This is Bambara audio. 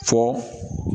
Fɔ